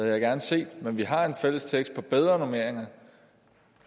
jeg gerne set men vi har en fælles tekst om bedre normeringer